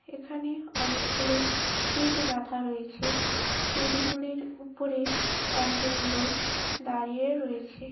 এখানে অনেকগুলো ইট গাঁথা রয়েছে। ইট গুলির উপরে একজন লোক দাঁড়িয়ে রয়েছে।